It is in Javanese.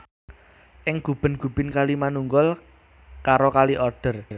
Ing Guben Gubin kali manunggal karo Kali Oder